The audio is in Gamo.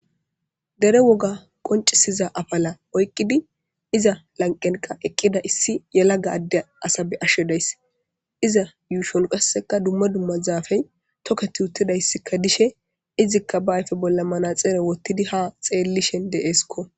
dere woga qoncisiza afala oyqqidi iza lanqenqa eqqida issi yelaga adde asabe ashshedayss iza yuushon qasseka dumma dumma zaafey tokket uttidayssikka dishe izikka ba ayfe bolla mana xeere wottidi ha xeellishen deeskko